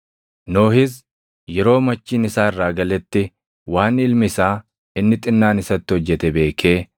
Nohis yeroo machiin isaa irraa galetti waan ilmi isaa inni xinnaan isatti hojjete beekee